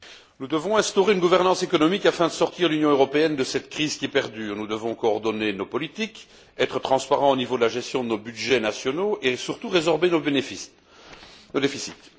Monsieur le Président, nous devons instaurer une gouvernance économique afin de sortir l'Union européenne de cette crise qui perdure. Nous devons coordonner nos politiques, être transparents au niveau de la gestion de nos budgets nationaux et surtout résorber nos déficits.